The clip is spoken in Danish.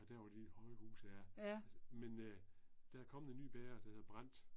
Og der var et lille højhus ja. Altså men øh, der er kommet en ny bager der hedder Brandt.